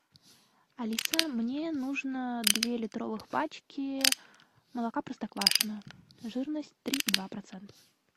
алиса мне нужно две литровых пачки молока простоквашино жирность три и два процента